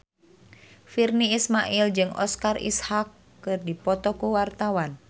Virnie Ismail jeung Oscar Isaac keur dipoto ku wartawan